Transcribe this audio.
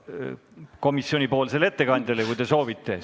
Küll aga on teil võimalus esitada oma esimene küsimus komisjoni ettekandjale, kui soovite.